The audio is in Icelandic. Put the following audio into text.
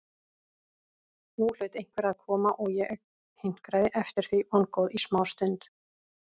Nú hlaut einhver að koma og ég hinkraði eftir því vongóð í smástund.